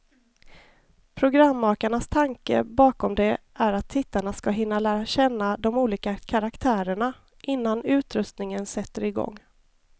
Programmakarnas tanke bakom det är att tittarna ska hinna lära känna de olika karaktärerna, innan utröstningen sätter igång.